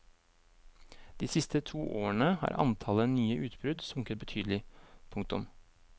De siste to årene har antallet nye utbrudd sunket betydelig. punktum